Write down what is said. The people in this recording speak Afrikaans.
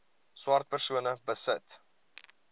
swart persone besit